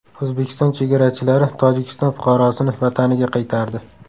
O‘zbekiston chegarachilari Tojikiston fuqarosini vataniga qaytardi.